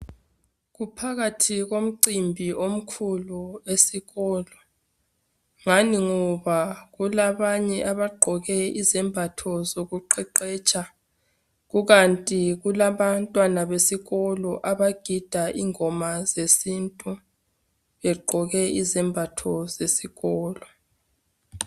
Phakathi komcimbi omkhulu esikolo ngani ngoba kulabanye abagqoke izembatho zokuqeqetsha kukanti kulabantwana besikolo abagida ingoma zesintu begqoke izembatho zesikolo